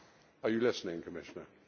Are you listening, Commissioner?